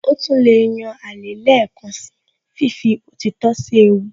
Ó tún lè yan alẹ́ lẹ́ẹ̀kan síi fífi òtítọ́ sí ewu